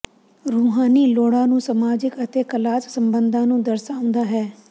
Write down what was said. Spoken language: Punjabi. ਰੂਹਾਨੀ ਲੋੜਾਂ ਨੂੰ ਸਮਾਜਿਕ ਅਤੇ ਕਲਾਸ ਸੰਬੰਧਾਂ ਨੂੰ ਦਰਸਾਉਂਦਾ ਹੈ